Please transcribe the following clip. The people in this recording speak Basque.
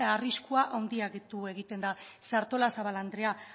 arriskua handitu egiten da ze artalazabal andrea